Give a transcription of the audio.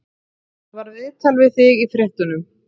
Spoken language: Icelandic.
Það var viðtal við þig í fréttunum.